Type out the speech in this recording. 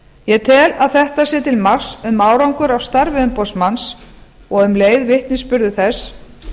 ég tel að þetta sé til marks um árangur af starfi umboðsmanns og um leið vitnisburður þess